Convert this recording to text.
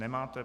Nemáte.